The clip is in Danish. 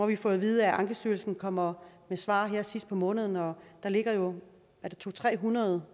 vi fået at vide at ankestyrelsen kommer med svar her sidst på måneden og der ligger jo to hundrede